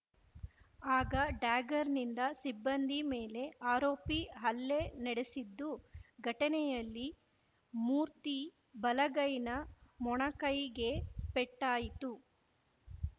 ಆಗ ಡ್ಯಾಗರ್‌ನಿಂದ ಸಿಬ್ಬಂದಿ ಮೇಲೆ ಆರೋಪಿ ಹಲ್ಲೆ ನಡೆಸಿದ್ದು ಘಟನೆಯಲ್ಲಿ ಮೂರ್ತಿ ಬಲಗೈನ ಮೊಣಕೈಗೆ ಪೆಟ್ಟಾಯಿತು